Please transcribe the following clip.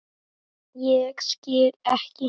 Ég skil ekki.